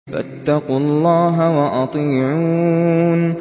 فَاتَّقُوا اللَّهَ وَأَطِيعُونِ